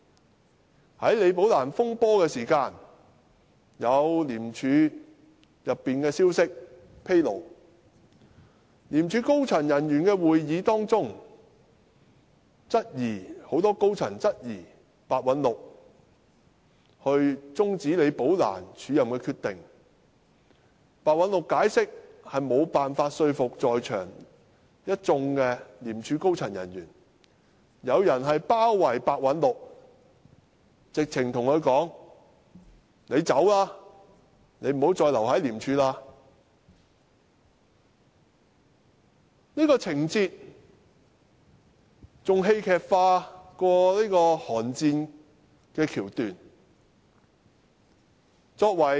在出現李寶蘭風波的時候，有來自廉署的消息披露，在廉署高層人員的會議上，很多高層人員質疑白韞六終止李寶蘭署任的決定，白韞六的解釋無法說服在場的一眾廉署高層人員，有人包圍白韞六，直截了當地叫他離開，不要再留在廉署，這情節較"寒戰"的橋段更戲劇化。